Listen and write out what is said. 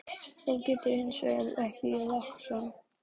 Það getur hann hins vegar ekki í lakkskóm.